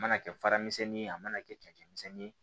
A mana kɛ fara misɛnnin ye a mana kɛ cɛncɛn misɛnnin ye